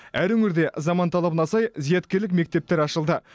әр өңірде заман талабына сай зияткерлік мектептер ашылды